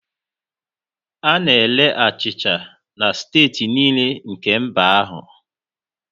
A na-ere achịcha na steeti niile nke mba ahụ